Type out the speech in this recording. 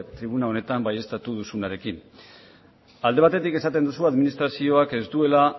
egun honetan baieztatu duzunarekin alde batetik esaten dugu administrazioak ez duela